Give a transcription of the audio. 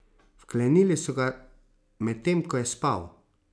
Vklenili so ga, medtem ko je spal.